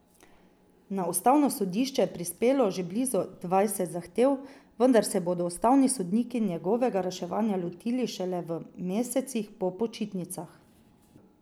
Na ustavno sodišče je prispelo že blizu dvajset zahtev, vendar se bodo ustavni sodniki njihovega reševanja lotili šele v mesecih po počitnicah.